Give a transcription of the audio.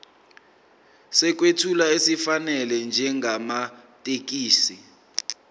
sokwethula esifanele njengamathekisthi